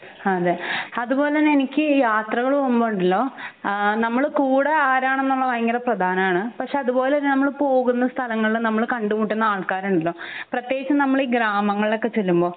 അതെ അതുപോലെതന്നെ എനിക്ക് യാത്രകൾ പോകുമ്പോ ഉണ്ടല്ലോ ആഹ് നമ്മൾ കൂടെ ആരാണെന്ന് ഉള്ളത് ഭയങ്കര പ്രധാനം ആണ് പക്ഷെ അതുപോലെ തന്നെ നമ്മൾ പോകുന്ന സ്ഥലങ്ങളിൽ നമ്മൾ കണ്ടുമുട്ടുന്ന ആൾകാർ ഉണ്ടല്ലോ പ്രത്യേകിച്ച് നമ്മൾ ഈ ഗ്രാമങ്ങളിൽ ഒക്കെ ചെല്ലുമ്പോ